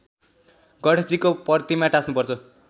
गणेशजीको प्रतिमा टाँस्नुपर्छ